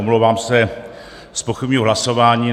Omlouvám se, zpochybňuji hlasování.